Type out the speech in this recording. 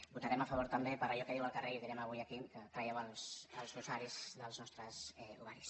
votarem a favor també per allò que diu el carrer i direm avui aquí traieu els rosaris dels nostres ovaris